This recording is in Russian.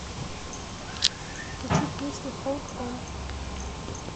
включи песня холд он